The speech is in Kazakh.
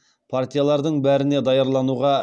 партиялардың бәріне даярлануға